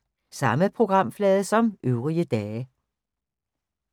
Samme programflade som øvrige dage